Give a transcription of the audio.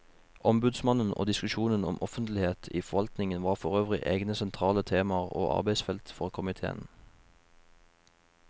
Ombudsmannen og diskusjonen om offentlighet i forvaltningen var forøvrig egne sentrale temaer og arbeidsfelt for komiteen.